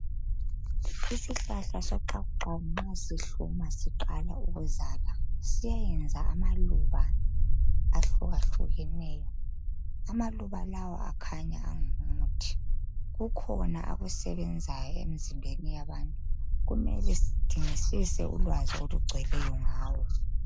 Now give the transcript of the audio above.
Isihlahla soxakuxaku ,nxa sihluma, siqala ukuzala, siyayenza amaluba ahlukahlukeneyo. Amaluba lawa akhanya angumuthi. Kukhona akusebenzayo emzimbeni yabantu. Kumele sidingisise ulwazi olugcweleyo ngawo.